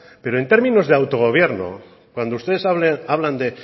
pero en términos de autogobierno cuando ustedes hablan de